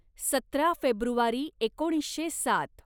सतरा फेब्रुवारी एकोणीसशे सात